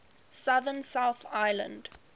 southern south island